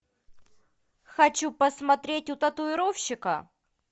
хочу посмотреть у татуировщика